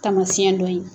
Taamasiyɛn dɔ ye